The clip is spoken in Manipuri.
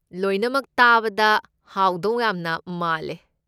ꯂꯣꯏꯅꯃꯛ ꯇꯥꯕꯗ ꯍꯥꯎꯗꯧ ꯌꯥꯝꯅ ꯃꯥꯜꯂꯦ꯫